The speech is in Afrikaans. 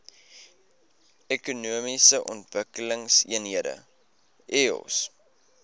ekonomiese ontwikkelingseenhede eoes